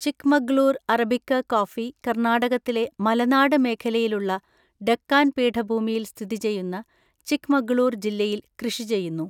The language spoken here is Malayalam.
ചിക്മഗ്ളൂർ അറബിക്ക കോഫി കർണ്ണാടകത്തിലെ മലനാട് മേഖലയിലുള്ള ഡക്കാൻ പീഠഭൂമിയിൽ സ്ഥിതിചെയ്യുന്ന ചിക്മഗ്ളൂർ ജില്ലയിൽ കൃഷിചെയ്യുന്നു.